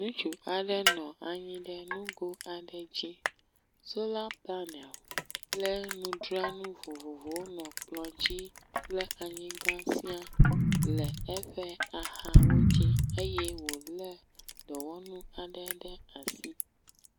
Ŋutsu aɖe nɔ anyi ɖe nugo aɖe dzi. Sola panel kple ŋudzranu vovovowo nɔ kplɔ dzi kple anyigba sia le eƒe axawo dzi eye wo le dɔwɔnu aɖe ɖe asi.